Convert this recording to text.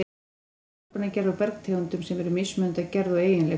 Jarðskorpan er gerð úr bergtegundum sem eru mismunandi að gerð og eiginleikum.